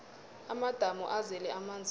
amadamu azele amanzi woke